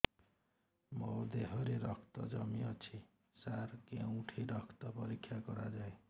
ମୋ ଦିହରେ ରକ୍ତ କମି ଅଛି ସାର କେଉଁଠି ରକ୍ତ ପରୀକ୍ଷା କରାଯାଏ